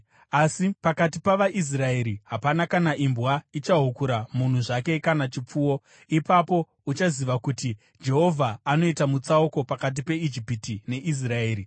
Asi pakati pavaIsraeri hapana kana imbwa ichahukura munhu zvake kana chipfuwo.’ Ipapo uchaziva kuti Jehovha anoita mutsauko pakati peIjipiti neIsraeri.